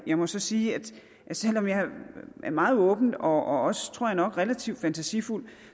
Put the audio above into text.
jeg må sige at selv om jeg er meget åben og også tror jeg nok relativt fantasifuld